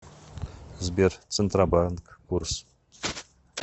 сбер центробанк курс